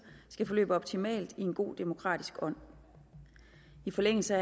skal forløbe optimalt i en god demokratisk ånd i forlængelse